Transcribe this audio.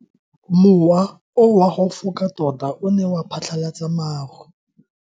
Mowa o wa go foka tota o ne wa phatlalatsa maru.